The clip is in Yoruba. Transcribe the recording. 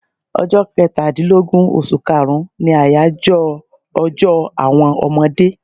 Ọjọ́ Kẹtàdínlógún oṣù kaàrún ni àyájọ́ ọjọ́ àwọn ọmọdé